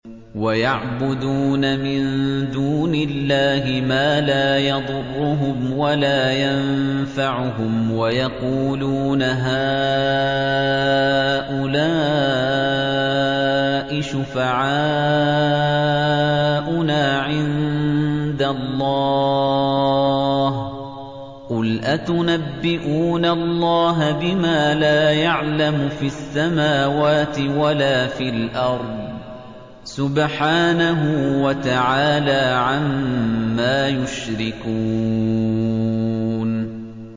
وَيَعْبُدُونَ مِن دُونِ اللَّهِ مَا لَا يَضُرُّهُمْ وَلَا يَنفَعُهُمْ وَيَقُولُونَ هَٰؤُلَاءِ شُفَعَاؤُنَا عِندَ اللَّهِ ۚ قُلْ أَتُنَبِّئُونَ اللَّهَ بِمَا لَا يَعْلَمُ فِي السَّمَاوَاتِ وَلَا فِي الْأَرْضِ ۚ سُبْحَانَهُ وَتَعَالَىٰ عَمَّا يُشْرِكُونَ